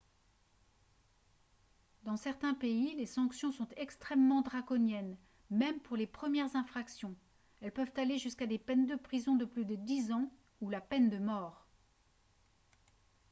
dans certains pays les sanctions sont extrêmement draconiennes même pour les premières infractions elles peuvent aller jusqu'à des peines de prison de plus de dix ans ou la peine de mort